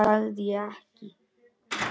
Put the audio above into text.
Það sagði ég ekki.